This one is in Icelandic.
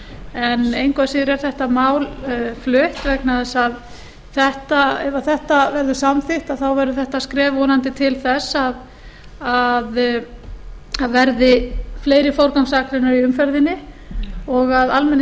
en engu að síður er þetta mál flutt vegna þess að ef þetta verður samþykkt þá verður þetta skref vonandi til þess að það verði fleiri forgangsakreinar í umferðinni og að